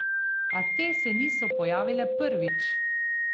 A te se niso pojavile prvič.